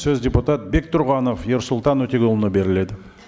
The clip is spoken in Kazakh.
сөз депутат бектұрғанов ерсұлтан өтеғұлұлына беріледі